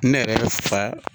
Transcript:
Ne yɛrɛ fa.